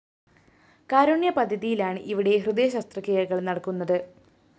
കാരുണ്യ പദ്ധതിയിലാണ് ഇവിടെ ഹൃദയ ശസ്ത്രക്രിയകള്‍ നടക്കുന്നത്